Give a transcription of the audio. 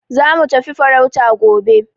Za mu tafi farauta gobe.